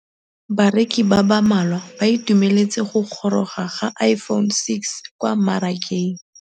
Bareki ba ba malwa ba ituemeletse go gôrôga ga Iphone6 kwa mmarakeng.